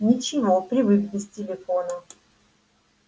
ничего привык без телефона